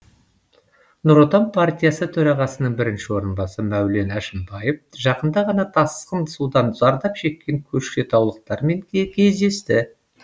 нұр отан партиясы төрағасының бірінші орынбасары мәулен әшімбаев жақында ғана тасқын судан зардап шеккен көкшетаулықтармен де кездесті